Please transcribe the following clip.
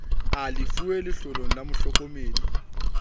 a lefuweng letloleng la mohlokomedi